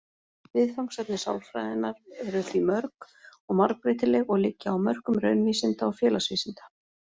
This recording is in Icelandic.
Viðfangsefni sálfræðinnar eru því mörg og margbreytileg og liggja á mörkum raunvísinda og félagsvísinda.